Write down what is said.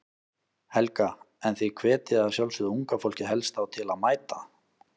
Helga: En þið hvetjið að sjálfsögðu unga fólkið helst þá til að mæta?